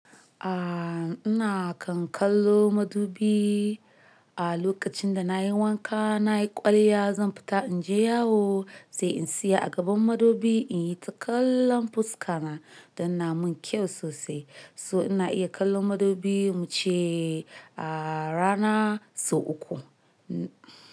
Ah ina kan kallo madubi. A lokacin da nayi wanka, nayi kwalliya, zan fita inje yawo sai in siya a gaban madubi, in yi ta kallon fuska na, don yana mun kyau sosai. So, ina iya kallon madubi mu ce a rana sau uku.